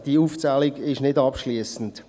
diese Aufzählung ist nicht abschliessend.